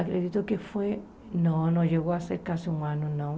Acredito que foi... Não, não chegou a ser quase um ano, não.